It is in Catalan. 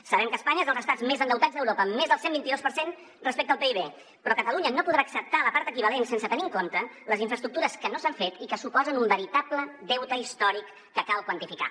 sabem que espanya és dels estats més endeutats d’europa amb més del cent vint i dos per cent respecte al pib però catalunya no podrà acceptar la part equivalent sense tenir en compte les infraestructures que no s’han fet i que suposen un veritable deute històric que cal quantificar